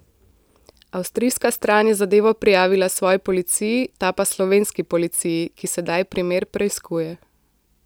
Avstrijska stran je zadevo prijavila svoji policiji, ta pa slovenski policiji, ki sedaj primer preiskuje.